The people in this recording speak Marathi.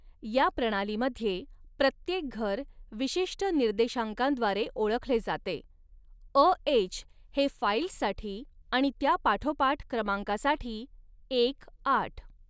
या प्रणालीमध्ये, प्रत्येक घर विशिष्ट निर्देशांकांद्वारे ओळखले जाते, अ एच हे फाइल्ससाठी आणि त्या पाठोपाठ क्रमांकासाठी एक आठ.